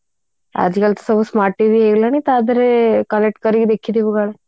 ଆଜି କାଲି ତ smart TV ହେଇଗଲାଣି ତା ଦେହରେ collect କରିକି ଦେଖିଥିବୁ କାଳେ